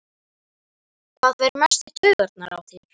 Hver fer mest í taugarnar á þér?